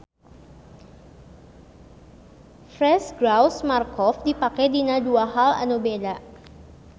Frase Gauss-Markov dipake dina dua hal anu beda.